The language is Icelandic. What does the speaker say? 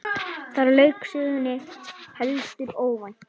Þar lauk sögnum, heldur óvænt.